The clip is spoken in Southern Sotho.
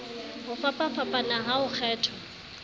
ho fapafapana ha ho kgethwa